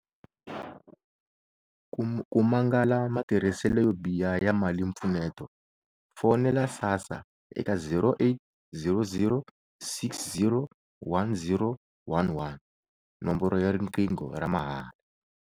Ku mangala matirhiselo yo biha ya malimpfuneto, fonela SASSA eka 0800 60 10 11, nomboro ya riqingho ra mahala.